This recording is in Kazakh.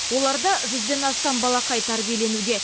оларда жүзден астам балақай тәрбиеленуде